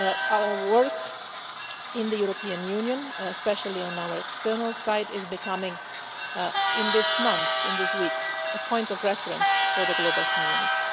Our work in the European Union, especially on our external site, is becoming in these months, in these weeks, a point of reference for the global community.